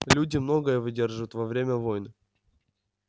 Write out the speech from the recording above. люди многое выдерживают во время войн